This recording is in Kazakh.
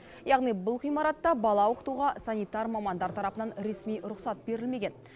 яғни бұл ғимаратта бала оқытуға санитар мамандар тарапынан ресми рұқсат берілмеген